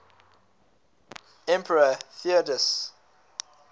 emperor theodosius